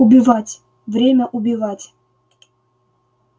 убивать время убивать